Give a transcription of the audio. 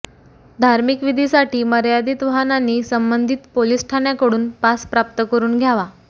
धार्मिक विधीसाठी मर्यादीत वाहनांनी संबंधित पोलीस ठाण्याकडून पास प्राप्त करून घ्यावा